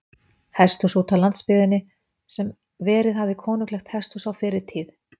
Hesthúsi útá landsbyggðinni, sem verið hafði konunglegt hesthús á fyrri tíð.